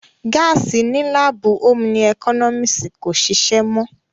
Gáàsì ní láàbù ómú ẹkọ́nọ́mísì kò ṣìṣé mọ́